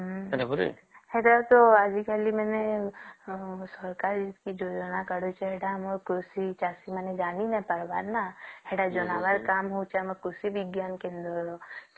ହେଟା ତ ଆଜି କାଲି ମାନେ ସରକାର କି ଯୋଜନା କରିଛି ସେଟା ଆମ କୃଷି ଚାଷୀ ମାନେ ଜାଣି ନାଇଁ ପରିବାର ନ ସେଟା ଜଣାବାର କମ ହଉଛେ ଆମର କୃଷି ବିଜ୍ଞାନ କେନ୍ଦ୍ର ର